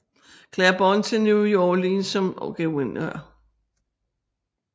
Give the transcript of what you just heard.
Claiborne til New Orleans som guvernør